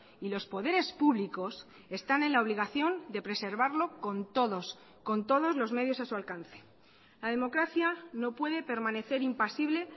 y los poderes públicos están en la obligación de preservarlo con todos con todos los medios a su alcance la democracia no puede permanecer impasible